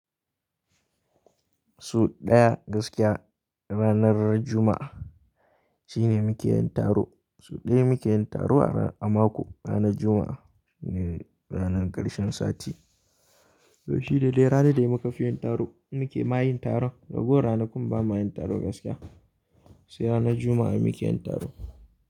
So ɗaya gaskiya ranar Juma'a shine muke yin taro. So ɗaya muke yin taro a mako ranar Juma'a shine ranar ƙarshen sati. To shine daidai ranar da muka fi yin taro muke ma yin taron. Rago ranakun ba ma yin taro gaskiya sai ranar Juma'a muke yin taro.